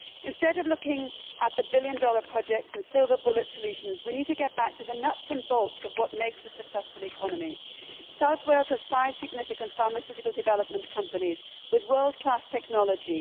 Instead of looking at the billion dollar projects and silver bullet solutions, we need to get back to the nuts and bolts of what makes a successful economy. South Wales has five significant pharmaceutical development companies with world class technology.